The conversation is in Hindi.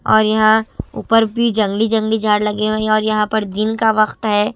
और यहाँ ऊपर भी जंगली-जंगली झाड़ लगे हुए हैंऔर यहाँ पर दिन का वक्त है।